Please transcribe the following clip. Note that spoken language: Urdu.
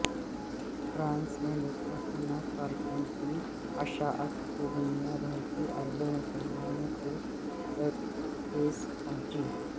فرانس میں گستاخانہ کارٹون کی اشاعت سے دنیا بھر کے اربوں مسلمانوں کو ٹھیس پہنچی